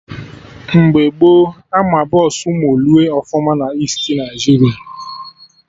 Mgbe gboo Ama Bọsụ moolue ọfụma na Easti Naịjiria